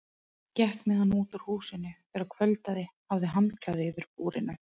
Gekk með hann út úr húsinu þegar kvöldaði, hafði handklæði yfir búrinu.